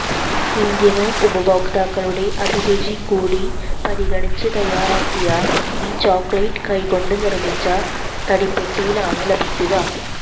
Indian ഉപഭോക്താക്കളുടെ അഭിരുചി കൂടി പരിഗണിച്ച് തയാറാക്കിയ ഈ ചോക്ലേറ്റ് കൈകൊണ്ട് നിർമ്മിച്ച തടിപ്പെട്ടിയിലാണ് ലഭിക്കുക